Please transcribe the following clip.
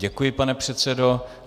Děkuji, pane předsedo.